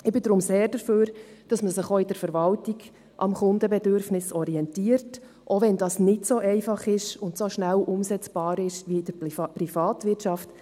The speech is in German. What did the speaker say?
Ich bin deshalb sehr dafür, dass man sich auch in der Verwaltung am Kundenbedürfnis orientiert, auch wenn das nicht so einfach ist und nicht so schnell umsetzbar ist, wie in der Privatwirtschaft.